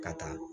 Ka taa